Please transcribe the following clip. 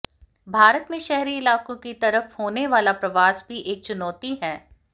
भारत में शहरी इलाकों की तरफ होने वाला प्रवास भी एक चुनौती है